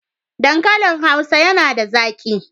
Dankalin Hausa yana da zaƙi.